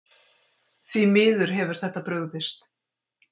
Því miður hefur þetta brugðist.